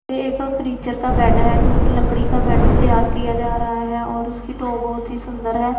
ये एक फर्नीचर का बेड है जो की लकड़ी का बेड तैयार किया जा रहा है और उसकी तो बहोत ही सुंदर है।